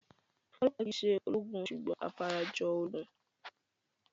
Ọlọ́ọ̀pá kìí se ológun sùgbọ́n afarajolúgun